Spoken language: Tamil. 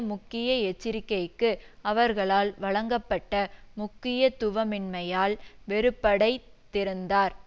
முக்கிய எச்சரிக்கைக்கு அவர்களால் வழங்கப்பட்ட முக்கியத்துவமின்மையால் வெறுப்படைத்திருந்தார்